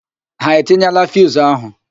Ha etinyeela fiuzu ahụ?